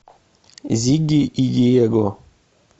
зигги и диего